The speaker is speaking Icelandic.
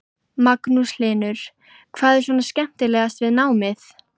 Magnús Hlynur: Hvað er svona skemmtilegast við námið?